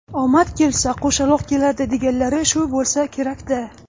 Omad kelsa, qo‘shaloq keladi deganlari shu bo‘lsa kerak-da!